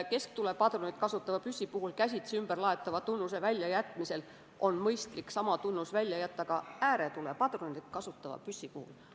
Kesktulepadruneid kasutava püssi puhul käsitsi ümberlaetavuse tunnuse väljajätmisel on mõistlik sama tunnus jätta välja ka ääretulepadruneid kasutava püssi puhul.